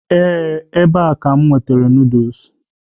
Ee, ebe a ka m na-aga noodles.